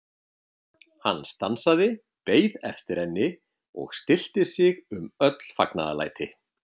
Hann stansaði, beið eftir henni og stillti sig um öll fagnaðarlæti.